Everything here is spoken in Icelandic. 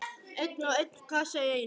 Einn og einn kassa í einu.